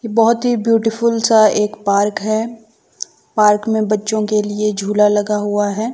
बहोत ही ब्यूटीफुल सा एक पार्क हैं। पार्क में बच्चों के लिए झूला लगा हुआ हैं।